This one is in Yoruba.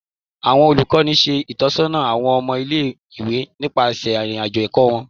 Awọn olukọni ṣe itọsọna awọn ọmọ ile-iwe nipasẹ irin-ajo ẹkọ wọn